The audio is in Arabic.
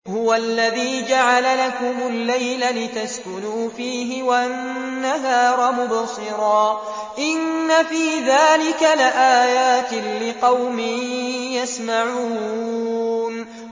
هُوَ الَّذِي جَعَلَ لَكُمُ اللَّيْلَ لِتَسْكُنُوا فِيهِ وَالنَّهَارَ مُبْصِرًا ۚ إِنَّ فِي ذَٰلِكَ لَآيَاتٍ لِّقَوْمٍ يَسْمَعُونَ